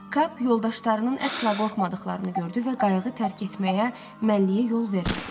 Kap yoldaşlarının əsla qorxmadıqlarını gördü və qayığı tərk etməyə məlliyə yol vermədi.